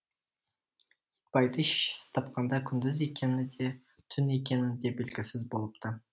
итбайды шешесі тапқанда күндіз екені де түн екені де белгісіз болыпты